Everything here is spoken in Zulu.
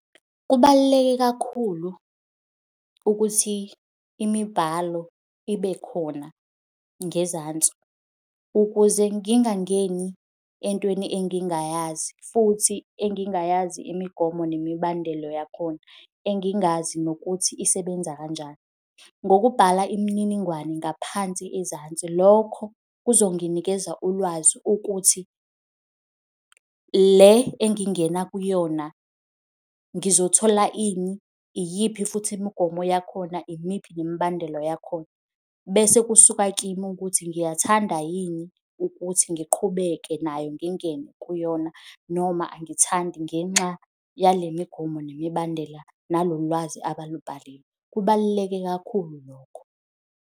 Kubaluleke kakhulu ukuthi imibhalo ibe khona ngezansi ukuze ngingangeni entweni engingayazi futhi engingayazi imigomo nemibandelo yakhona, engingayazi nokuthi isebenza kanjani. Ngokubhala imininingwane ngaphansi ezansi, lokho kuzonginikeza ulwazi ukuthi le engingena kuyona ngizothola ini, iyiphi futhi imigomo yakhona, imiphi nemibandelo yakhona. Bese kusuka kimi ukuthi ngiyathanda yini ukuthi ngiqhubeke nayo ngingene kuyona, noma angithandi ngenxa yale migomo nemibandela, nalolu lwazi abalubhalile. Kubaluleke kakhulu lokho.